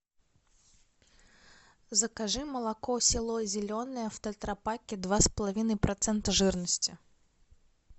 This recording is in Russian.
закажи молоко село зеленое в тетрапаке два с половиной процента жирности